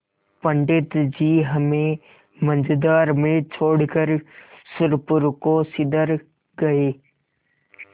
पंडित जी हमें मँझधार में छोड़कर सुरपुर को सिधर गये